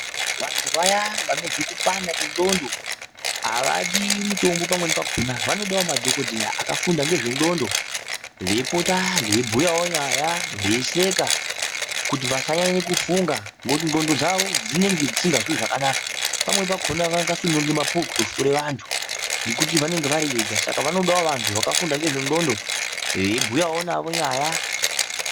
Vantu vaya vanonzwa kupanda kwendxondo havadi mitombo pamwei pakona vanodawo madhokodheya vakafunda ngezvendxondo veipota veibhuyawo nyaya veisheka kuti vasanyanye kufunge ngekuti ndxondo dzavo dzinenge dzisikazwi zvakanaka .